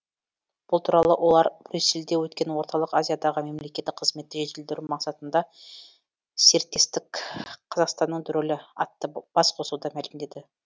бұл туралы олар брюссельде өткен орталық азиядағы мемлекеттік қызметті жетілдіру мақсатында серіктестік қазақстанның рөлі атты басқосуда мәлімдеді